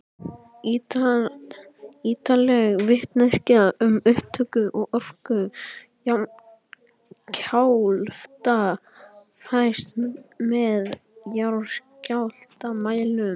Ýtarleg vitneskja um upptök og orku jarðskjálfta fæst með jarðskjálftamælum.